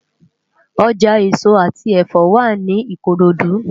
Ojá esó ati ẹfọ wá ni Ikorodu